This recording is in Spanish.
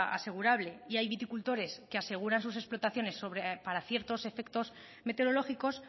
asegurable y hay viticultores que aseguran sus explotaciones para ciertos efectos meteorológicos